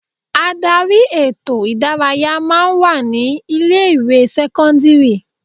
Ádárì ètò ìdárayá máa ń wà ní ilé ìwé sẹ́kọ́ńdírì.